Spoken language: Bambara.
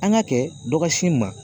An ka kɛ dɔ ka s'i ma